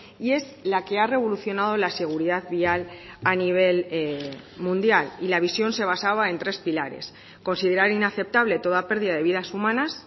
y es la que ha revolucionado la seguridad vial a nivel mundial y la visión se basaba en tres pilares considerar inaceptable toda pérdida de vidas humanas